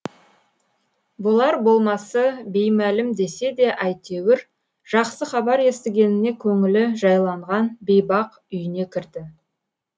болар болмасы беймәлім десе де әйтеуір жақсы хабар естігеніне көңілі жайланған бейбақ үйіне кірді